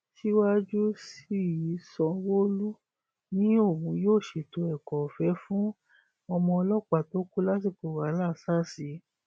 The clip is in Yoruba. síwájú sí i sanwóolu ni òun yóò ṣètò ẹkọọfẹ fun ọmọ ọlọpàá tó kù lásìkò wàhálà sars yìí